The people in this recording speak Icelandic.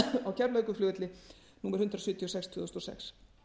á keflavíkurflugvelli númer hundrað sjötíu og sex tvö þúsund og sex